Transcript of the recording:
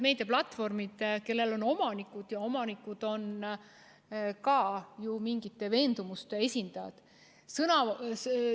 Meediaplatvormidel on omanikud ja omanikud on ka ju mingisuguste veendumuste esindajad.